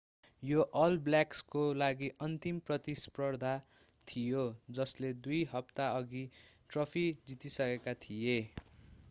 यो अल ब्ल्याक्सको लागि अन्तिम प्रतिस्पर्धा थियो जसले दुई हप्ताअघि ट्रफी जितिसकेका थिए